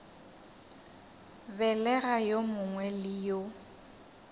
begela yo mongwe le yo